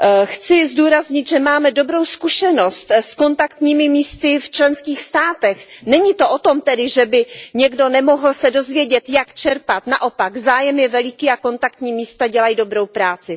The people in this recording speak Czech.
Chci zdůraznit, že máme dobrou zkušenost s kontaktními místy v členských státech, není to o tom, že by se někdo nemohl dozvědět, jak čerpat. Naopak, zájem je veliký a kontaktní místa dělají dobrou práci.